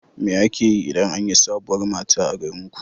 Me ake yi idan an yi sabuwar mata a garinku?